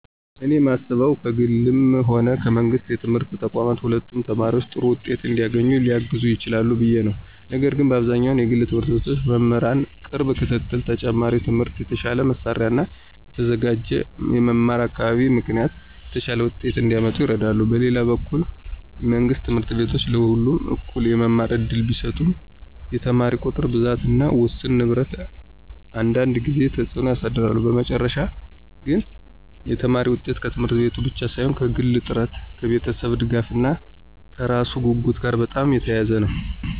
እኔ የማስበው ከግልም ሆነ ከመንግሥት የትምህርት ተቋማት ሁለቱም ተማሪ ጥሩ ውጤት እንዲያገኝ ሊያግዙ ይችላሉ ብዬ ነው፤ ነገር ግን በአብዛኛው የግል ት/ቤቶች በመምህራን ቅርብ ክትትል፣ ተጨማሪ ትምህርት፣ የተሻለ መሳሪያ እና የተዘጋጀ የመማር አካባቢ ምክንያት የተሻለ ውጤት እንዲያመጡ ይረዳሉ። በሌላ በኩል መንግሥት ት/ቤቶች ለሁሉም እኩል የመማር እድል ቢሰጡም የተማሪ ቁጥር ብዛት እና ውስን ንብረት አንዳንድ ጊዜ ተጽዕኖ ያሳድራሉ። በመጨረሻ ግን የተማሪ ውጤት ከት/ቤቱ ብቻ ሳይሆን ከግል ጥረት፣ ከቤተሰብ ድጋፍ እና ከራሱ ጉጉት ጋር በጣም የተያያዘ ነው።